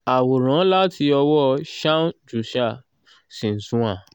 àwòrán láti ọwọ́ shaun jusa/xinhua